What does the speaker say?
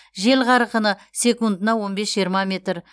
жел қарқыны секундына он бес жиырма метр